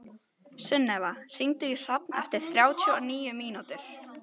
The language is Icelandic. Sunneva, hringdu í Hrafn eftir þrjátíu og níu mínútur.